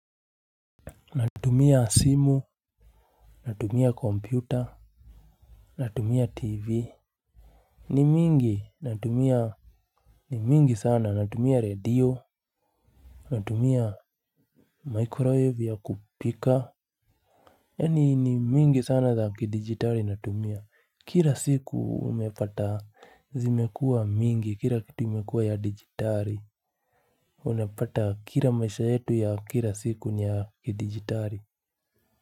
Natumia simu. Natumia kompyuta. Natumia tv. Ni mingi natumia. Ni mingi sana natumia radio. Natumia Microwave ya kupika yaani ni mingi sana za kidijitari natumia kira siku umepata zimekua mingi kira kitu imekua ya dijitari. Unapata kira maisha yetu ya kira siku ya kidijitari.